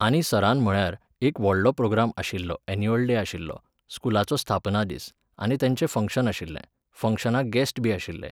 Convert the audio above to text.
आनी सरान म्हळ्यार, एक व्हडलो प्रोग्राम आशिल्लो एन्युअल डे आशिल्लो, स्कुलाचो स्थापना दीस, आनी तेचें फंक्शन आशिल्लें, फंक्शनांक गेस्टबी आशिल्ले